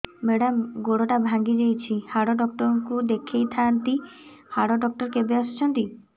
madam ଗୋଡ ଟା ଭାଙ୍ଗି ଯାଇଛି ହାଡ ଡକ୍ଟର ଙ୍କୁ ଦେଖାଇ ଥାଆନ୍ତି ହାଡ ଡକ୍ଟର କେବେ ଆସୁଛନ୍ତି